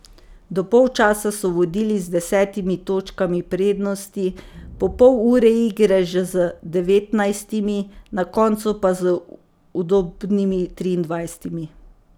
Do polčasa so vodili z desetimi točkami prednosti, po pol ure igre že z devetnajstimi, na koncu pa z udobnimi triindvajsetimi.